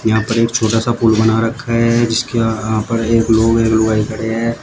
यहां पर एक छोटा सा पुल बना रखा है जिसके आ यहां पर एक लोग एक लुगाई खड़े हैं।